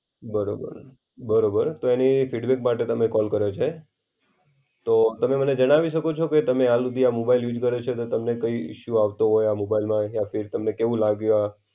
બરોબર. બરોબર, તો એની ફિડબેક માટે તમને કોલ કર્યો છે. તો તમે મને જણાવી શકો છો, કે તમે હાલ હુદી આ મોબાઈલ યુસ કર્યો છે, તો તમને કઈ ઇશ્યૂ આવતો હોય આ મોબાઈલમાં યા ફીર તમને કેવું લાગ્યું આ.